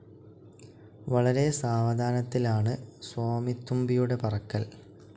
വളരെ സാവധാനത്തിലാണ് സ്വാമിത്തുമ്പിയുടെ പറക്കൽ.